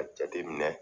A jateminɛ